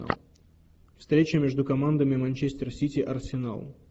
встреча между командами манчестер сити арсенал